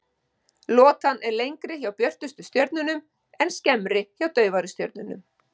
Lotan er lengri hjá björtustu stjörnunum en skemmri hjá daufari stjörnum.